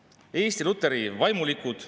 Nii et ma tsiteerin Eenok Haamri sõnavõttu [6.